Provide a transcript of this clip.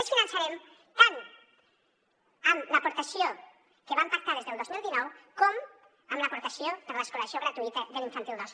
les finançarem tant amb l’aportació que vam pactar des del dos mil dinou com amb l’aportació per l’escolarització gratuïta de l’infantil dos